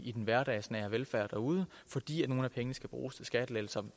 i den hverdagsnære velfærd derude fordi nogle af pengene skal bruges til skattelettelser